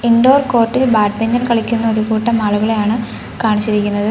Indoor court ഇൽ badminton കളിക്കുന്ന ഒരു കൂട്ടം ആളുകളെയാണ് കാണിച്ചിരിക്കുന്നത്.